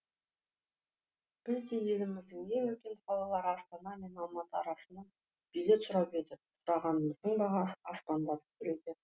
біз де еліміздің ең үлкен қалалары астана мен алматы арасына билет сұрап едік сұрағанымыздың бағасы аспандап тұр екен